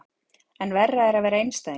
En verra er að vera einstæðingur.